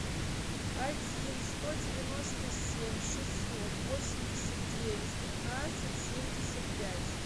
один сто девяносто семь шестьсот восемьдесят девять пятнадцать семьдесят пять